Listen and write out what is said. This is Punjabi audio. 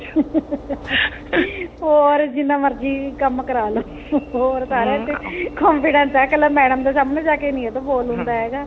ਹੋਰ ਜਿੰਨਾ ਮਰਜੀ ਕੰਮ ਕਰਾਲੋ ਹੋਰ ਸਾਰਿਆ ਚ confidence ਹੈ ਕੱਲਾ madam ਦੇ ਸਾਹਮਣੇ ਜਾਕੇ ਨਹੀਂ ਇਹਦੇ ਤੋਂ ਬੋਲ ਹੁੰਦਾ ਹੈਗਾ